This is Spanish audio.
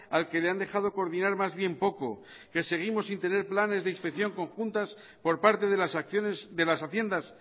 al que le han dejado coordinar más bien poco que seguimos sin tener planes de inspección conjuntas por parte de las acciones de las haciendas